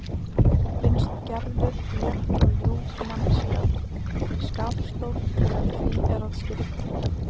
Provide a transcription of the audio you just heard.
Finnst Gerður létt og ljúf manneskja- skapstór þegar því er að skipta.